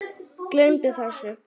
Gleymdu þessu.